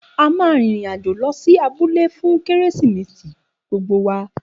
A ma rin ìrìn-àjò lọ sí abúlé fún kérésìmesì gbogbo wa